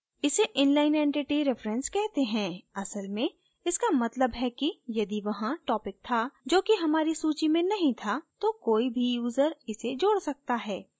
इसे inline entity reference कहते हैं असल में इसका मतलब है कि यदि वहाँ topic था जो कि हमारी सूची में नहीं था तो कोई भी यूजर इसे जोड सकता है